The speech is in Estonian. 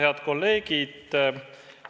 Head kolleegid!